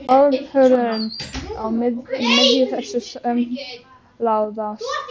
Óhugnaðurinn í miðju þessu uppmálaða sakleysi.